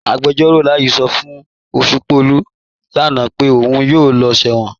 Agbẹjọ̀ró Láyí̀ sọ́ fún Oṣùpọ̀lú lánà pé ọ̀un yóò lọ̀ sẹwọn.